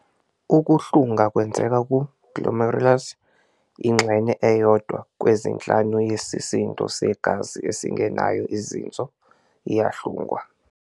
Ukuhlunga kwenzeka ku-glomerulus- ingxenye eyodwa kwezinhlanu yesisindo segazi esingenayo ezinso iyahlungwa.